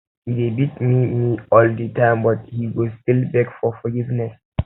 e dey beat me me all the time but he go still beg for forgiveness